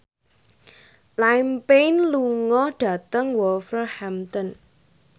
Liam Payne lunga dhateng Wolverhampton